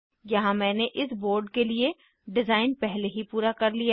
यहाँ मैंने इस बोर्ड के लिए डिज़ाइन पहले ही पूरा कर लिया है